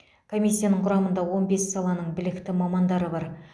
комиссияның құрамында он бес саланың білікті мамандары бар